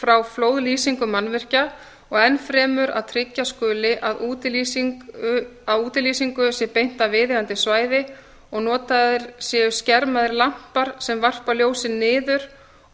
frá flóðlýsingu mannvirkja og enn fremur að tryggja skuli að útilýsingu sé beint að viðeigandi svæði og notaðir séu skermaðir lampar sem varpa ljósi niður